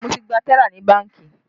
Mo ti gba tẹ́là ní bánkì